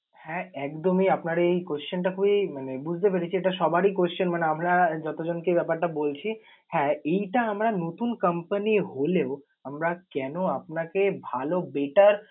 হ্যাঁ একদমই আপনার এই question টা খুবি মানে বুঝতে পেরেছি। এটা সবারই question মানে আমরা যত জনকে এই ব্যাপারটা বলছি। হ্যাঁ এইটা আমরা নতুন company হলেও আমরা কেন আপনাকে ভাল better